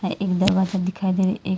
एक दरवाजा दिखाए दे रहे एक--